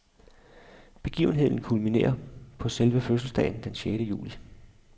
Begivenheden kulminerer på selve fødselsdagen den sjette juli.